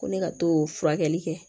Ko ne ka to furakɛli kɛ